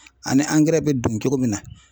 Ani angɛrɛ bɛ don cogo min na